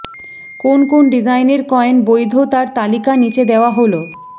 কোন কোন ডিজাইনের কয়েন বৈধ তার তালিকা নিচে দেওয়া হল